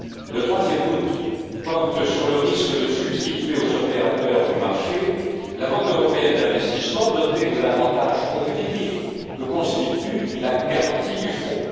Le troisième doute porte sur le risque de substituer aux opérateurs du marché la Banque européenne d'investissement, dotée de l'avantage compétitif que constitue la garantie du fonds.